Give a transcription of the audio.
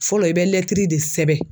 Fɔlɔ i bɛ lɛtiri de sɛbɛn.